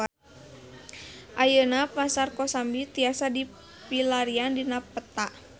Ayeuna Pasar Kosambi tiasa dipilarian dina peta